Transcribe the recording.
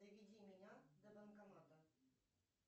доведи меня до банкомата